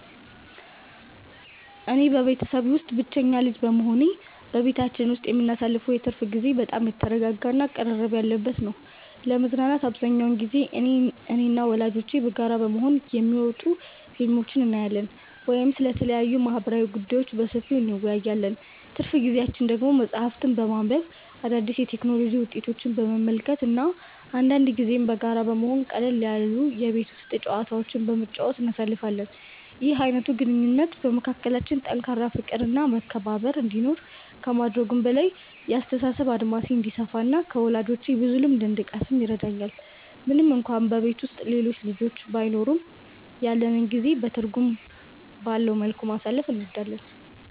እኔ በቤተሰቤ ውስጥ ብቸኛ ልጅ በመሆኔ፣ በቤታችን ውስጥ የምናሳልፈው የትርፍ ጊዜ በጣም የተረጋጋ እና ቅርርብ ያለበት ነው። ለመዝናናት አብዛኛውን ጊዜ እኔና ወላጆቼ በጋራ በመሆን የሚወጡ ፊልሞችን እናያለን ወይም ስለተለያዩ ማህበራዊ ጉዳዮች በሰፊው እንወያያለን። ትርፍ ጊዜያችንን ደግሞ መጽሐፍትን በማንበብ፣ አዳዲስ የቴክኖሎጂ ውጤቶችን በመመልከት እና አንዳንድ ጊዜም በጋራ በመሆን ቀለል ያሉ የቤት ውስጥ ጨዋታዎችን በመጫወት እናሳልፋለን። ይህ አይነቱ ግንኙነት በመካከላችን ጠንካራ ፍቅር እና መከባበር እንዲኖር ከማድረጉም በላይ፣ የአስተሳሰብ አድማሴ እንዲሰፋ እና ከወላጆቼ ብዙ ልምድ እንድቀስም ይረዳኛል። ምንም እንኳን በቤት ውስጥ ሌሎች ልጆች ባይኖሩም፣ ያለንን ጊዜ በትርጉም ባለው መልኩ ማሳለፍ እንወዳለን።